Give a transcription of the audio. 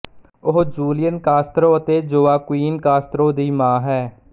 ਉਹ Julian Castro ਅਤੇ Joaquin Castro ਦੀ ਮਾਂ ਹੈ